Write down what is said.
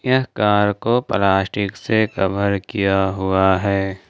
यह कार को प्लास्टिक से कवर किया हुआ है।